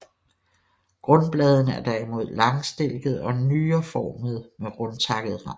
Grundbladene er derimod langstilkede og nyreformede med rundtakket rand